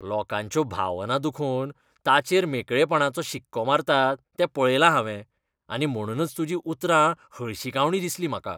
लोकांच्यो भावना दुखोवन ताचेर मेकळेपणाचो शिक्को मारतात तें पळयलां हांवें आनी म्हणूनच तुजीं उतरां हळशिकावणीं दिसलीं म्हाका.